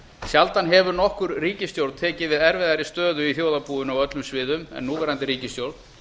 sjaldan hefur nokkur ríkisstjórn tekið við erfiðari stöðu í þjóðarbúinu á öllum sviðum en núverandi ríkisstjórn